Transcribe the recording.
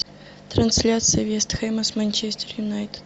трансляция вест хэма с манчестер юнайтед